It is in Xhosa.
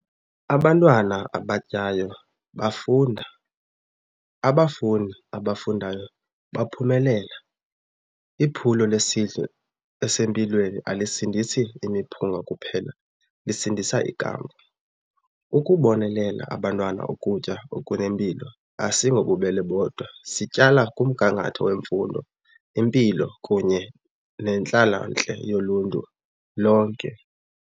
Abantwana abatyayo bafunda, abafundi abafundayo baphumelela. Iphulo lesidlo esempilweni alisindisi imiphunga kuphela, lisindisa ikamva. Ukubonelela abantwana ukutya okunempilo asingobubele bodwa, sityala kumgangatho wemfundo, impilo kunye nentlalontle yoluntu lonke.